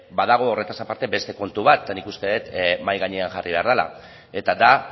badago horretaz aparte beste puntu bat eta nik uste dut mahai gainean jarri behar dela eta da